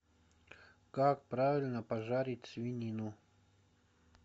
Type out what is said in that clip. как правильно пожарить свинину